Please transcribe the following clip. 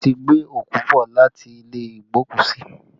Wọ́n ti ń gbé òkú bọ̀ láti ilé igbokusi